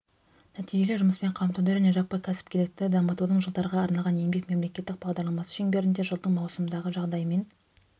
нәтижелі жұмыспен қамтуды және жаппай кәсіпкерлікті дамытудың жылдарға арналған еңбек мемлекеттік бағдарламасы шеңберінде жылдың маусымындағы жағдаймен